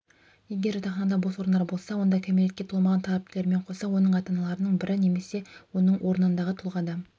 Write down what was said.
егер жатақханада бос орындар болса онда кәмелетке толмаған талапкерлермен қоса оның ата-аналарының бірі немесе оның орнындағы тұлға да